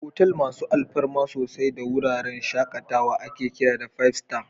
Otal masu alfarma sosai da wuraren shakatawa ake kira Five Star.